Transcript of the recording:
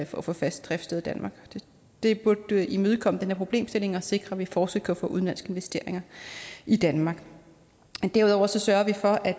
for at få fast driftssted i danmark det burde imødekomme den her problemstilling og sikre at vi fortsat kan få udenlandske investeringer i danmark derudover sørger